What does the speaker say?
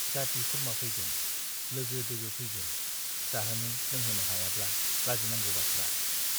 जाति- खुरमा फैगोन , लोगो - दोगो फैगोन , जाहोनो लोंहोनो हायाब्ला लाजिनांगौ बाथ्रा ।